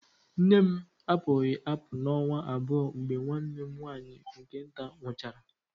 Nne m apụghị apụ ọnwa abụọ mgbe nwanne m nwaanyị nke nta nwụchaara